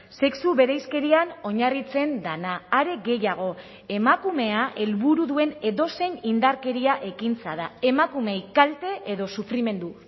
sexu bereizkerian oinarritzen dena are gehiago emakumea helburu duen edozein indarkeria ekintza da emakumeei kalte edo sufrimendu